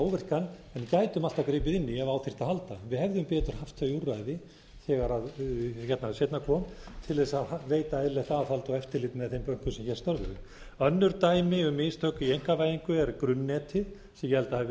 gætum við alltaf gripið inn í ef á þyrfti að halda við hefðum betur haft þau úrræði þegar seinna kom til þess að veita eðlilegt aðhald og eftirlit með þeim bönkum sem hér störfuðu önnur dæmi um mistök í einkavæðingu er grunnnetið sem ég held að hafi